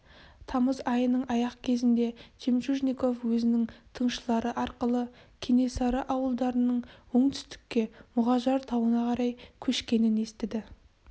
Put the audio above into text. тамыз айының аяқ кезінде жемчужников өзінің тыңшылары арқылы кенесары ауылдарының оңтүстікке мұғажар тауына қарай көшкенін естіді